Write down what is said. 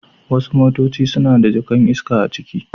Wasu motaci suna da jaka'n iska a ciki.